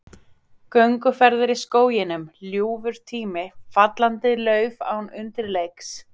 Gönguferðir í skóginum, ljúfur tími, fallandi lauf án undirleiks.